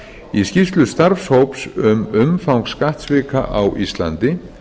í skýrslu starfshóps um umfang skattsvika á íslandi